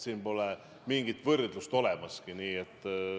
Siin pole mingit võrdlust olemaski.